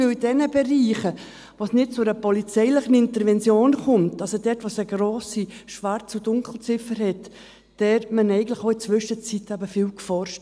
– In den Bereichen, in denen es nicht zu einer polizeilichen Intervention kommt, also dort, wo es eine grosse Schwarz- und Dunkelziffer gibt, hat man eigentlich in der Zwischenzeit eben viel geforscht.